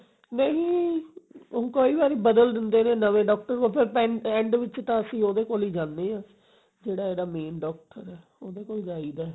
ਨਹੀਂ ਨਹੀਂ ਊਂ ਕਈ ਵਾਰੀ ਬਦਲ ਦਿੰਦੇ ਨੇ ਨਵੇਂ doctor ਉਹ ਤਾਂ end ਵਿੱਚ ਤਾਂ ਅਸੀਂ ਉਹਦੇ ਕੋਲ ਹੀ ਜਾਂਦੇ ਆ ਜਿਹੜਾ ਇਹਦਾ main doctor ਐ ਉਹਦੇ ਕੋਲ ਜਾਈਦਾ